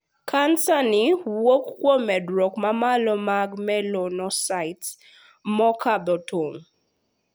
Kansani wuok kuom medruok mamalo mag 'melanocytes' mokadho tong'.